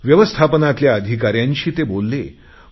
व्यवस्थापनातल्या अधिकाऱ्यांशी ते बोलले आहेत